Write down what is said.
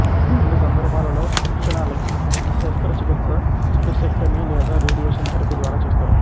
కొన్ని సందర్భాలలో లక్షణాలకి శస్త్రచికిత్స స్ప్లీసెక్టమీ లేదా రేడియేషన్ థెరపీ ద్వారా చేస్తారు